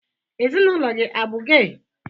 Ezinaụlọ gị abụ gey?